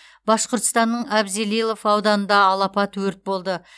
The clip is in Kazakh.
башқұртстанның абзелилов ауданында алапат өрт болды